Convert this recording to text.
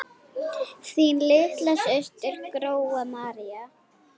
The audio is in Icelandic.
Þín litla systir, Gróa María.